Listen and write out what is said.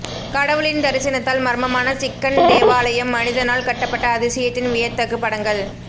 கடவுளின் தரிசனத்தால் மர்மமான சிக்கன் தேவாலயம் மனிதனால் கட்டப்பட்ட அதிசயத்தின் வியத்தகு படங்கள்